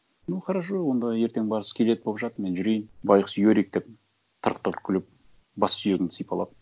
ну хорошо онда ертең бар скелет болып жат мен жүрейін байғұс юрик деп тырқ тырқ күліп бассүйегіңді сипалап